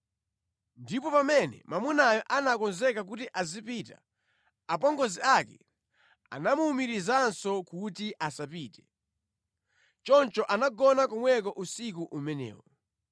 Ndipo pamene mwamunayo anakonzeka kuti azipita, apongozi ake anamuwumirizanso kuti asapite. Choncho anagona komweko usiku umenewo.